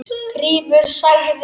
Grímur sagði